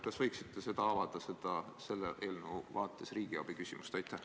Kas võiksite selle eelnõu vaates avada riigiabi küsimust?